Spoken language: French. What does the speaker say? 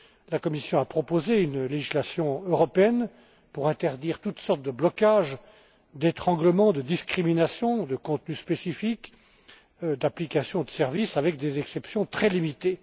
La Commission a proposé une législation européenne afin d'interdire toutes sortes de blocages, d'étranglements, de discriminations de contenus spécifiques, d'applications ou de services, avec des exceptions très limitées.